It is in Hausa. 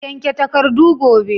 Yanke takardu gobe!